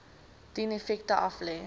dien effekte aflê